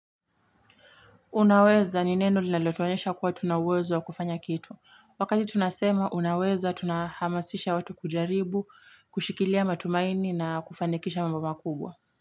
Unaweza ni neno lineletuanyesha kuwa tunawezo kufanya kitu. Wakati tunasema unaweza tunahamasisha watu kujaribu, kushikilia matumaini na kufanekisha mbaba kubwa.